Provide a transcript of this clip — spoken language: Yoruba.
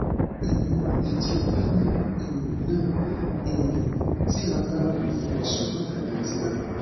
um neutropenia um náà um ti ń bá a lọ fún oṣù mọkànlá tí a mọ